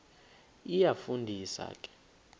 iyafu ndisa ke